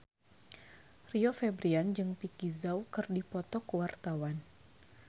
Rio Febrian jeung Vicki Zao keur dipoto ku wartawan